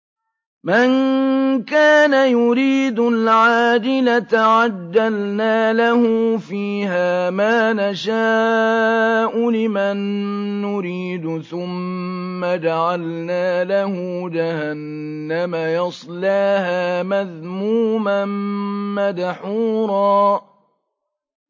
مَّن كَانَ يُرِيدُ الْعَاجِلَةَ عَجَّلْنَا لَهُ فِيهَا مَا نَشَاءُ لِمَن نُّرِيدُ ثُمَّ جَعَلْنَا لَهُ جَهَنَّمَ يَصْلَاهَا مَذْمُومًا مَّدْحُورًا